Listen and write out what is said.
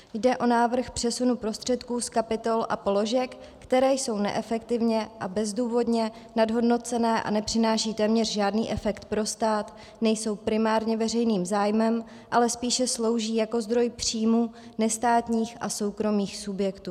Jde o návrh přesunu prostředků z kapitol a položek, které jsou neefektivně a bezdůvodně nadhodnocené a nepřináší téměř žádný efekt pro stát, nejsou primárně veřejným zájmem, ale spíše slouží jako zdroj příjmů nestátních a soukromých subjektů.